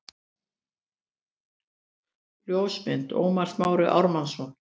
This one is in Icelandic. Ljósmynd: Ómar Smári Ármannsson